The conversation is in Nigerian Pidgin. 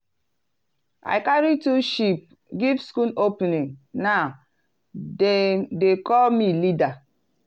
i carry two sheep give school opening now dem dey call me leader.